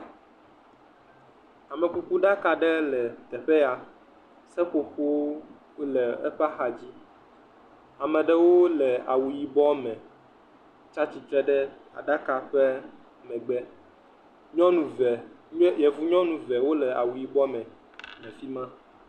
Amekuku ɖaka aɖe le teƒe ya. Seƒoƒowo le eƒe axa dzi. Ame aɖewo le awu yibɔ me. Wotsia tsitre ɖe aɖakawo megbe. Nyɔnu ve, yevu nyɔnu eve wole awu yibɔ me le fima.